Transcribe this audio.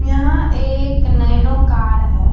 यहाँ एक Nano car है।